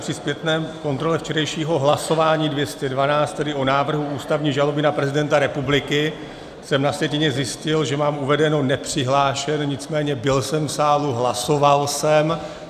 Při zpětné kontrole včerejšího hlasování 212, tedy o návrhu ústavní žaloby na prezidenta republiky, jsem na sjetině zjistil, že mám uvedeno nepřihlášen, nicméně byl jsem v sále, hlasoval jsem.